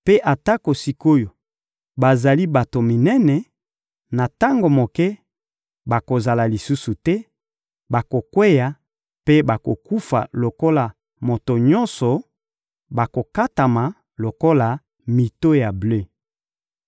Mpe atako sik’oyo bazali bato minene, na tango moke bakozala lisusu te, bakokweya mpe bakokufa lokola moto nyonso, bakokatama lokola mito ya ble.